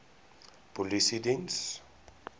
polisiediens